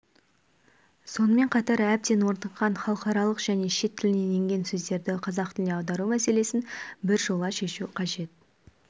сонымен қатар әбден орныққан халықаралық және шет тілінен енген сөздерді қазақ тіліне аудару мәселесін біржола шешу қажет